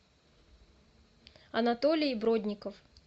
анатолий бродников